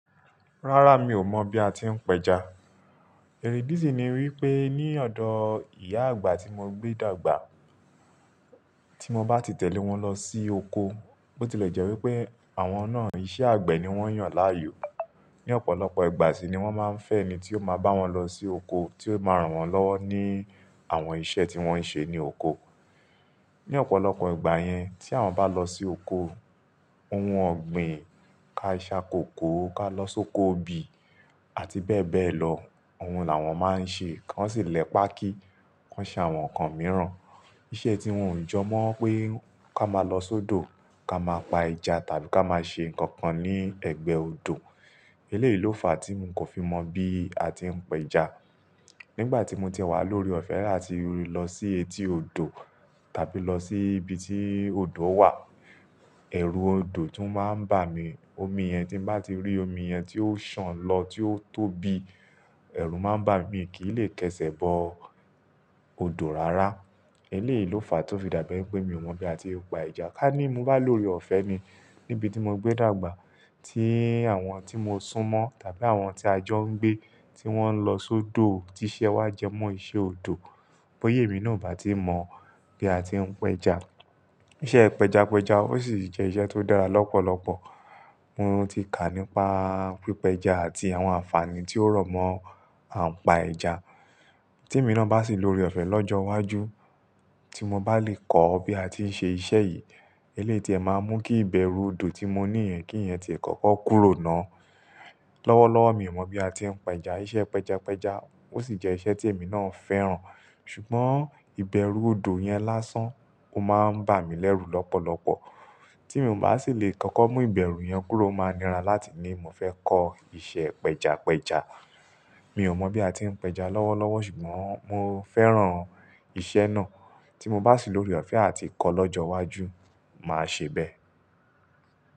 Rárá, mi ò mọ̀ bí a ti ń pẹja. Ẹ̀ ìdí sì ni wí pé ní ọ̀dọ̀ ìyá àgbà tí mo gbé dàgbà, tí mo bá ti tẹ̀lé wọn lọ sí oko, bó ti lè jẹ́ wípé àwọn náà iṣẹ́ àgbẹ̀ ni wọ́n yàn láàyò. Ní ọ̀pọ̀lọpọ̀ ìgbà síi ni wọ́n máa ń fẹ́ ẹni tí o máa bá wọn lọ sí oko, tí o máa ran wọ́n lọwọ ní àwọn iṣẹ́ tí wọ́n ń ṣe ní oko. Ní ọ̀pọ̀lọpọ̀ ìgbà yẹn, tí àwọn bá lọ sí oko, ohun ọ̀gbìn, ka a ṣa kòko, ka lọ́ sóko obì àti bẹ́ẹ̀ bẹ́ẹ̀ lọ, ohun là wọ́n máa ń ṣe. Wọ́n sì lẹ pákí, wọ́n ṣe àwọn nǹkan mìíràn. Iṣẹ́ tí wọn ò jọ mọ́ pé ka máa lọ sódò, ka máa pa ẹja tàbí ka máa ṣe nǹkan kan ní ẹgbẹ́ odò. Eléyìí ló fàá tí ń kò fi mọ bí a ti ń pẹja. Nígbà tí mo tìẹ wá lore ọ̀fẹ́ àtí lọ sí etí odò tàbí lọ sí ibi tí odò wà, ẹ̀rù odò tún máa ń bà mí. Omi yẹn, tí m bá ti rí omi yẹn tí ó ṣan lọ, tí ó tóbi, ẹ̀rù má n bà mí, mi kì í lè kẹ́sẹ̀ bọ odò rárá. Eléyìí ló fàá tó fi dàbí pé mi ò mọ bí a ti ń pa ẹja. Ká ní mo bá lore ọ̀fẹ́ ni, níbi tí mo gbé dàgbà, tí àwọn tí mo sún mọ́ tàbí àwọn tí ajọ ń gbé tí wọ́n n lọ sódò, ti iṣẹ́ wá jẹ́ mọ́ iṣẹ́ odò, bọ́yá emí náà ò bá ti mọ bí a ti ń pẹja. Iṣẹ́ pẹjapẹja ò sì jẹ́ iṣẹ́ tó dára lọ́pọ̀lọpọ̀. Mo ti kà nípa pípẹja àti àwọn àǹfààní tí ó rọ̀ mọ́ àǹpa ẹja. Tí emi na bá sì lore ọ̀fẹ́ lọ́jọ́ iwájú, tí mo bá lè kọ bí a ti ń ṣe iṣẹ́ yìí, eléyìí tìẹ máa mú kí ìbẹ̀rù odò tí mo ní yẹn, kí ìyẹn ti ẹ kọ́kọ́ kúrò náà. Lọ́wọ́lọ́wọ́ mi ò mọ bí a ti ń pẹja. Iṣẹ́ pẹjapẹja ò sì jẹ́ iṣẹ́ tí èmi náà fẹ́ràn. Sùgbọ́n ìbẹ̀rù odò yẹn lásán, ó máa ń bà mí lẹ́rù lọ́pọ̀lọpọ̀. Tí mo bá sì lè kọ́kọ́ mú ìbẹ̀rù yẹn kúrò, ó máa nira láti ní mo fẹ́ kọ iṣẹ́ pẹjapẹja. Mi ò mọ bí a ti ń pẹja lọ́wọ́lọ́wọ́ ṣùgbọ́n mo fẹ́ràn iṣẹ́ náà. Tí mo bá sì lórí ọ̀fẹ́ àti kọ lọ́jọ́ iwájú, mà á ṣe bẹ́ẹ̀.